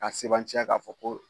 Ka sebantya ka fɔ ko